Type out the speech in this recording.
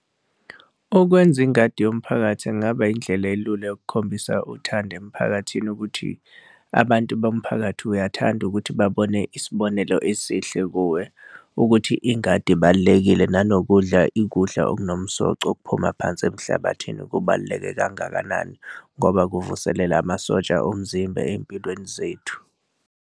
Ukwenza ingadi yomphakathi kungaba indlela elula yokukhombisa uthando emiphakathini ukuthi abantu bomphakathi uyathanda ukuthi babone isibonelo esihle kuwe, ukuthi ingadi ibalulekile nanokudla ukudla okunomsoco okuphuma phansi emhlabathini kubaluleke kangakanani, ngoba kuvuselela amasosha omzimba ey'mpilweni zethu.